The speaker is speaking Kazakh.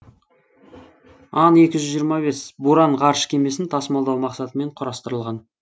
ан екі жүз жиырма бес буран ғарыш кемесін тасымалдау мақсатымен құрастырылған